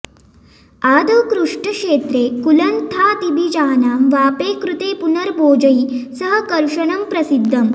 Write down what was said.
आदौ कृष्टक्षेत्रे कुलत्थादिबीजानां वापे कृते पुनर्बोजैः सह कर्षणं प्रसिद्धम्